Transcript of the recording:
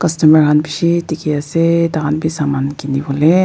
customer khan bishi dikhi ase tai khan bi saman kini bole.